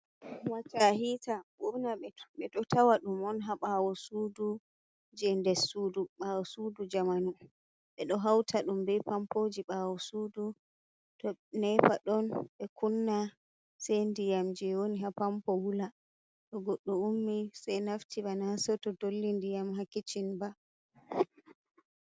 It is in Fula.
Wata hiita ɓurna ɓeɗo tawa ɗum on ha ɓawo sudu je nder sudu, ɓawo sudu jamanu ɓeɗo hauta ɗum bei pampoji ɓawo sudu to nepa ɗon ɓe kunna sei ndiyam je woni ha pampo wula to godɗo ummi sei naftira na seto dolli ndiyam ha kicin ba.